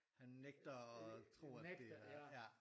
Han nægter at tro at det er ja